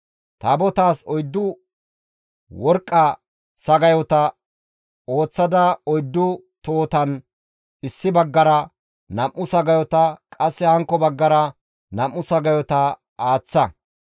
Taabotaas oyddu worqqa sagayota ooththada oyddu tohotan issi baggara nam7u sagayota, qasse hankko baggara nam7u sagayota aaththa.